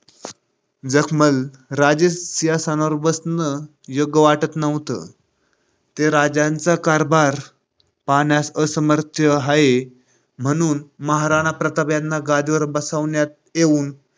जगमल राजे सिंहासनावर बसणं योग्य वाटत नव्हतं ते राज्याचा कारभार पाहण्यास असमर्थ होते. म्हणून महाराणा प्रताप यांना गादीवर बसवण्यात येऊन